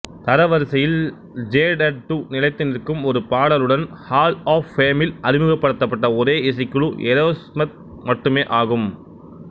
தரவரிசையில்ஜேடடு நிலைத்து நிற்கும் ஒரு பாடலுடன் ஹால் ஆப் பேமில் அறிமுகப்படுத்தப்பட்ட ஒரே இசைக்குழு ஏரோஸ்மித் மட்டுமெ ஆகும்